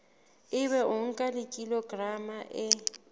ebe o nka kilograma e